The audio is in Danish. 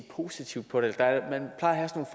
positivt på det man plejer at have